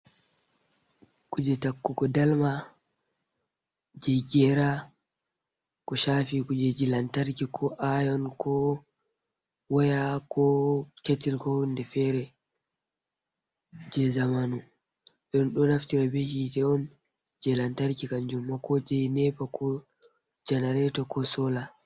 Kuje takku go dalma je gera go shafi kuje ji lantarki ko ayon, ko waya, ko ketil ko hunde fere je zamanu irin ɗo naftira be hite je lantarki kan juma kojei nepa ko janareto ko sola.